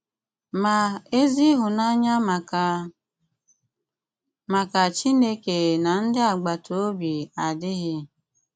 Mà, èzí ìhụ̀nànyà màkà màkà Chìnèké na ndị̀ àgbàtà òbí àdàghị̀.